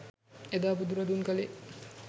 එදා බුදු රදුන් කලේ